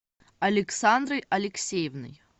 александрой алексеевной